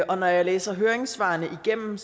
og når jeg læser høringssvarene igennem